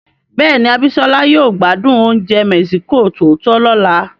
Bẹ́ẹ̀ni, Abisola yóò gbádùn oúnjẹ mexico tòótọ́ lọ́la.